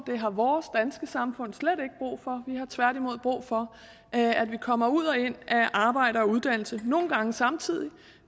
det har vores danske samfund slet ikke brug for har tværtimod brug for at vi kommer ud og ind af arbejde og uddannelse nogle gange samtidig